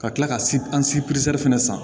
Ka tila ka an si perese fana san